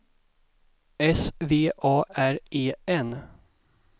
S V A R E N